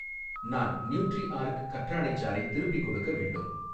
நான் நியூட்ரிஆர்க் கற்றாழை சாறை திருப்பிக் கொடுக்க வேண்டும்